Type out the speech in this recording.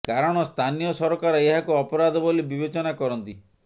କାରଣ ସ୍ଥାନୀୟ ସରକାର ଏହାକୁ ଅପରାଧ ବୋଲି ବିବେଚନା କରନ୍ତି